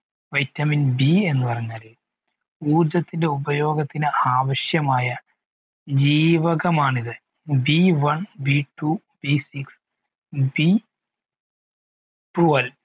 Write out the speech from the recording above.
vitamin B എന്ന് പറഞ്ഞാൽ ഊർജത്തിൻ്റെ ഉപയോഗത്തിന് ആവിശ്യമായ ജീവകമാണിത് B one B two B sixB twelve